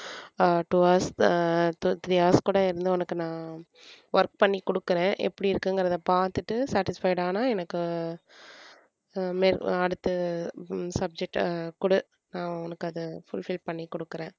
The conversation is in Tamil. அஹ் two hours uh two three hours கூட இருந்து உனக்கு நான் work பண்ணி கொடுக்கறேன் எப்படி இருக்குங்குறத பாத்துட்டு satisfied ஆனா எனக்கு அஹ் அடுத்து subject அ கொடு நான் உனக்கு அத fullfil பண்ணி கொடுக்குறேன்.